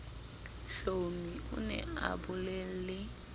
hlomi o ne a bolelle